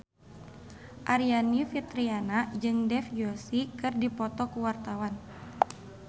Aryani Fitriana jeung Dev Joshi keur dipoto ku wartawan